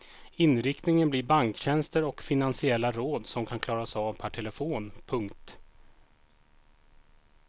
Inriktningen blir banktjänster och finansiella råd som kan klaras av per telefon. punkt